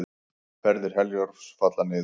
Ferðir Herjólfs falla niður